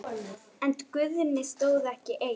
En Guðni stóð ekki einn.